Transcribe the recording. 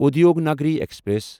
Udyognagari express